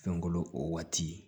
Fɛnkolo o waati